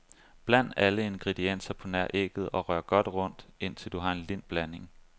Bland alle ingredienser på nær ægget og rør godt rundt, indtil du har en lind blanding.